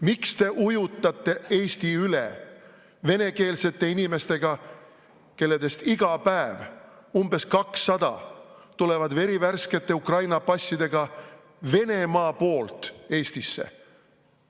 Miks te ujutate Eesti üle venekeelsete inimestega, kellest iga päev umbes 200 tulevad verivärskete Ukraina passidega Venemaa poolt Eestisse?